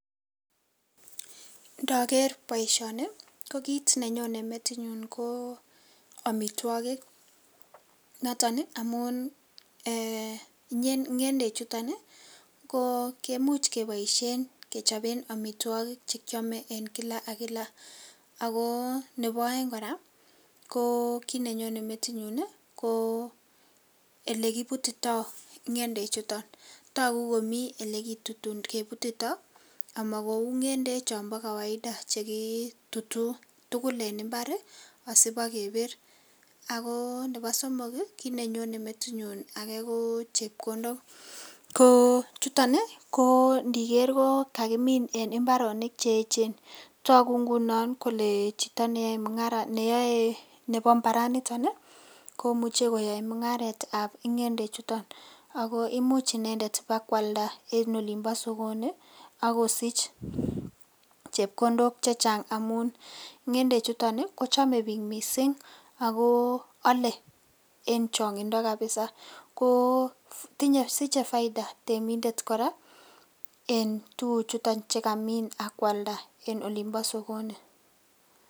Ndoker boisioni ko kit nenyo metinyun ko amitwogik noton amun ngendechuton kemuch keboisien kechoben amitwogik che kiame eng kila ak kila. Ago nebo aeng kora, ko kit nenyone metinyun ko elekibutito ngendechuton. Tagu komi olegebutito amakou ngendek chombo kawaida che kitutuu tugul en imbar asipakabir. Ago nebo somok ko kit nenyone metinyun age ko chepkondok. Chuton ko ndiker ko kakimin en imbaronik che eechen. Tagu inguno kole chito nebo imbaranito komuche koyoe mungaretab ngendechuton ago imuch inendet bakwalda en olimbo sogoni ak kosich chepkondok che chang amun ngende chuton ko chome biik mising ago ale eng chongindo kapisa kosiche faida temindet kora en tuguchuton che kamin ak kwalda en olimbo sogoni.